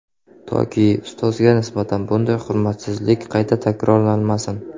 Toki, ustozga nisbatan bunday hurmatsizlik qayta takrorlanmasin.